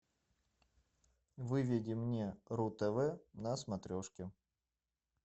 выведи мне ру тв на смотрешке